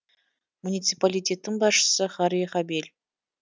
муниципалитеттің басшысы харри хабель